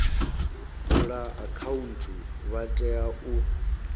vula akhaunthu vha tea u